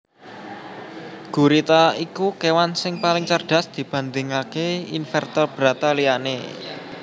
Gurita iku kewan sing paling cerdas dibandingaké invertebrata liyane